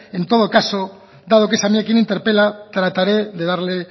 en todo caso dado que es a mí quien interpela trataré de darle